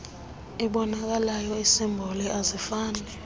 iboonakalayo iisimboli azifani